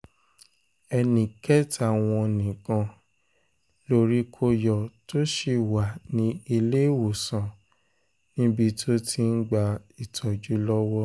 ẹnì kẹta wọn nìkan lórí kò yọ tó sì wà ní iléewòsàn níbi tó ti ń gba ìtọ́jú lọ́wọ́